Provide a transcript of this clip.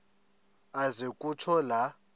aze kutsho la